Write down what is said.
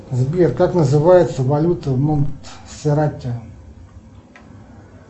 сбер как называется валюта в монтсеррате